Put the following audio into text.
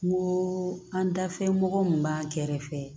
N ko an dafɛ mɔgɔ min b'an kɛrɛfɛ